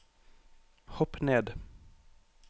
hopp ned